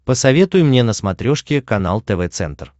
посоветуй мне на смотрешке канал тв центр